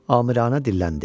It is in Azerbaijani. Amiranə dilləndi.